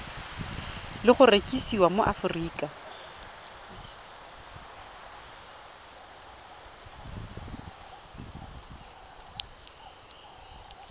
le go rekisiwa mo aforika